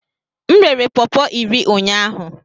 M rere pọọpo iri ụnyahụ.